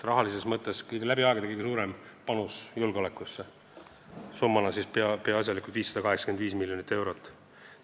Rahalises mõttes on julgeolekusse tehtud kõige suurem panus läbi aegade, summana peaasjalikult 585 miljonit eurot.